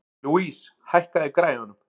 Louise, lækkaðu í græjunum.